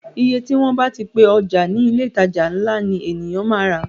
Iye tí wọ́n bá ti pe ọjà ní ilé ìtajà ńlá ni èyàn máa rà á.